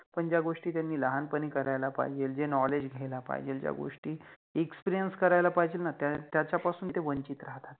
पण ज्या गोष्टी त्यानि लहानपणि करायला पाहिजेल, जे Knowledge घ्यायला पाहिजेल, Experience करायला पहिजेल न त्याच्यापासुंते वंचित राहतात.